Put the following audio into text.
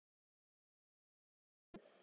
Og eru enn.